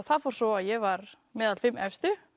það fór svo að ég var meðal fimm efstu